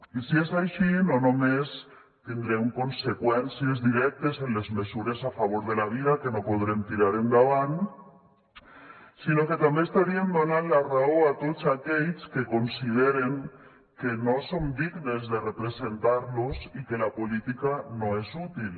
i si és així no només tindrem conseqüències directes en les mesures a favor de la vida que no podrem tirar endavant sinó que també estaríem donant la raó a tots aquells que consideren que no som dignes de representar los i que la política no és útil